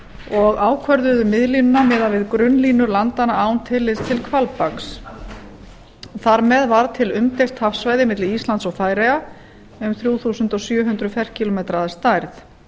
og ákvörðuðu miðlínuna miðað við grunnlínur landanna án tillits til hvalbaks þar með varð til umdeilt hafsvæði milli íslands og færeyja um þrjú þúsund sjö hundruð ferkilómetrar að stærð